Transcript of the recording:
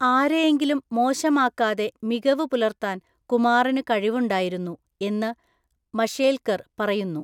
ആരെയെങ്കിലും മോശമാക്കാതെ മികവ് പുലർത്താൻ കുമാറിന് കഴിവുണ്ടായിരുന്നു, എന്ന് മഷേൽക്കർ പറയുന്നു.